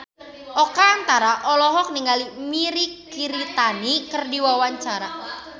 Oka Antara olohok ningali Mirei Kiritani keur diwawancara